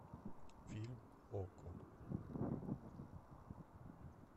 фильм окко